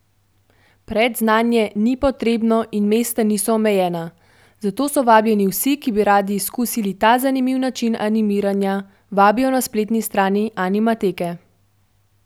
Predznanje ni potrebno in mesta niso omejena, zato so vabljeni vsi, ki bi radi izkusili ta zanimiv način animiranja, vabijo na spletni strani Animateke.